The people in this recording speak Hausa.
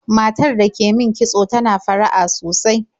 Matar da ke min kitso tana fara'a sosai.